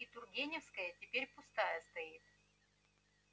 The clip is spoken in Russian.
и тургеневская теперь пустая стоит